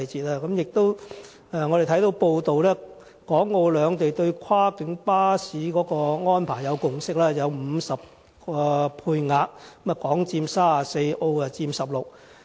我們亦看到報道，港澳兩地對跨境巴士的安排有共識，在50個配額中，香港佔34個，澳門佔16個。